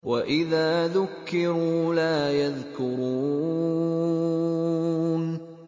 وَإِذَا ذُكِّرُوا لَا يَذْكُرُونَ